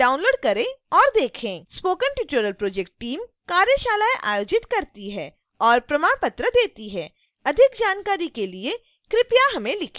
spoken tutorial project team कार्यशालाएं आयोजित करती है और प्रमाण पत्र देती है